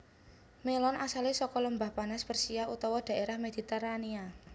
Mélon asalé saka Lembah Panas Persia utawa dhaérah Mediterania